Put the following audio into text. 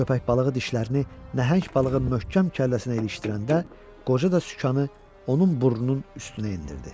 Köpək balığı dişlərini nəhəng balığın möhkəm kəlləsinə ilişdirəndə qoca da sükanı onun burnunun üstünə endirdi.